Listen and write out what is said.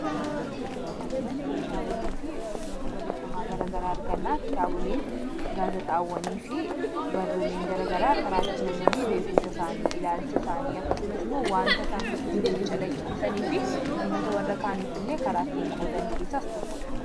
sura kanarratti kitaabolee fi sirnoota barreeffamaa garagaraa argannaa kitaaboleen gaasaxaawwanii fi barruuleen garagaraa karaatti namoonni beekumsa isaanii ilaalcha isaanii akkasumas imoo waanta isaan keessa jiruutti calaqqitisaniifi namoota warra kaaniif illee karaattiin qoodan keessaas tokkodha